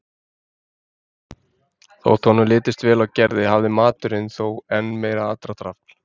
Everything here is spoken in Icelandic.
Þótt honum litist vel á Gerði hafði maturinn þó enn meira aðdráttarafl.